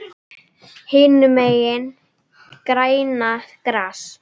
Hinum megin grænna gras.